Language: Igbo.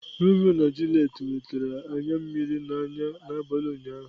Romeo na Juliet wetara anya mmiri n'anya n'abalị ụnyaahụ.